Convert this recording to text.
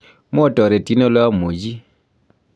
mwotoretin oli amuchi.